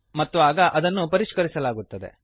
ಮತ್ತು ಆಗ ಅದನ್ನು ಪರಿಷ್ಕರಿಸಲಾಗುತ್ತದೆ